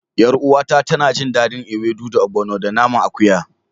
Yar uwata tana jin dadin ewedu da obgono da naman akuya.